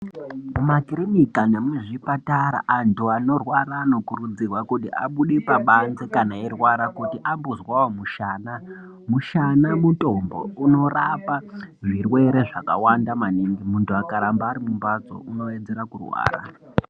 Mumakirinika nemuzvipatara, antu anorwara anokurudzirwa kuti abude pabanze kana eirwara, kuti ambozwawo mushana. Mushana mutombo, unorapa zvirwere zvakawanda maningi. Muntu akaramba ari mumhatso unowedzera kurwara.